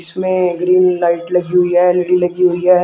इसमें green light लगी हुई है एल_ई_डी लगी हुई है।